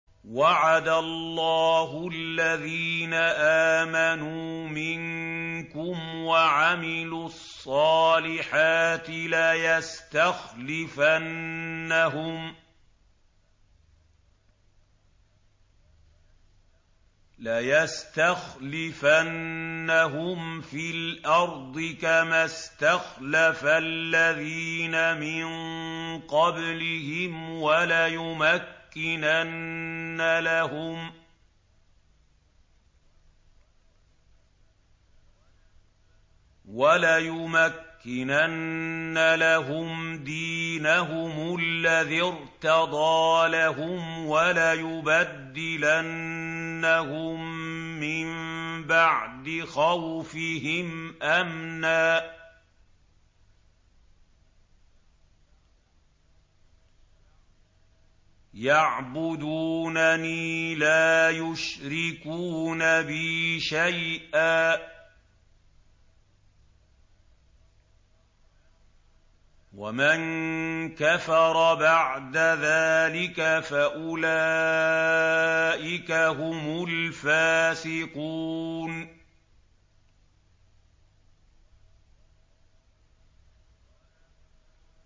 وَعَدَ اللَّهُ الَّذِينَ آمَنُوا مِنكُمْ وَعَمِلُوا الصَّالِحَاتِ لَيَسْتَخْلِفَنَّهُمْ فِي الْأَرْضِ كَمَا اسْتَخْلَفَ الَّذِينَ مِن قَبْلِهِمْ وَلَيُمَكِّنَنَّ لَهُمْ دِينَهُمُ الَّذِي ارْتَضَىٰ لَهُمْ وَلَيُبَدِّلَنَّهُم مِّن بَعْدِ خَوْفِهِمْ أَمْنًا ۚ يَعْبُدُونَنِي لَا يُشْرِكُونَ بِي شَيْئًا ۚ وَمَن كَفَرَ بَعْدَ ذَٰلِكَ فَأُولَٰئِكَ هُمُ الْفَاسِقُونَ